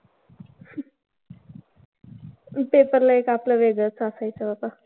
Paper ला एक आपलं एक वेगळंच असायचं बाबा.